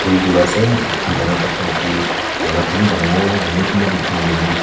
phul tor ase etu phul dana tu khai etu mala khan bhi bana bo na hoiley kunba to khan loina--